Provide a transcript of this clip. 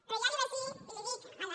però ja li vaig dir i ho dic a la